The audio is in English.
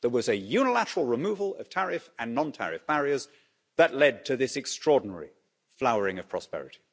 There was a unilateral removal of tariff and non tariff barriers that led to this extraordinary flowering of prosperity.